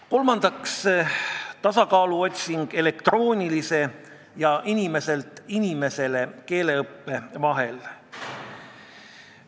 Kolmandaks otsime tasakaalu elektroonilise ja inimeselt inimesele keeleõppe vahel.